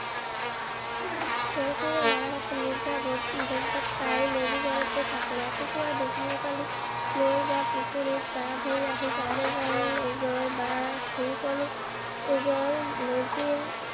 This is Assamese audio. গৰখীয়া লৰাহতে নিশা ভোজ ভাত খাই মেজি ঘৰতে থাকে। ৰাতিপুৱা দোকমোকালিতে নৈ বা পুখুৰীত গা ধুই আহি তামোল-পাণ এযোৰ বা